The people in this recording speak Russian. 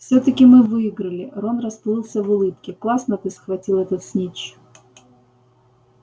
всё-таки мы выиграли рон расплылся в улыбке классно ты схватил этот снитч